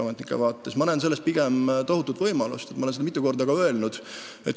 Ma näen selles pigem tohutut võimalust, olen seda ka mitu korda öelnud.